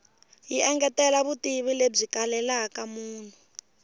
yi engetela vutivi lebyi kalelaka munhu